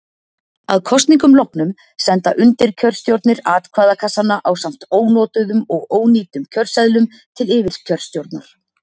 að kosningum loknum senda undirkjörstjórnir atkvæðakassana ásamt ónotuðum og ónýtum kjörseðlum til yfirkjörstjórnar